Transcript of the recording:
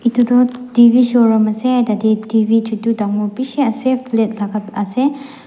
etu tu television showroom ase tate television chutu dangor bishi ase flat laka ase